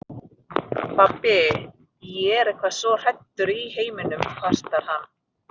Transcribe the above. Pabbi, ég er eitthvað svo hræddur í heiminum, kvartar hann.